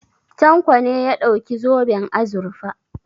Tanko ne ya ɗauki zoben azurfa.